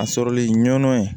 A sɔrɔli ɲɔn ye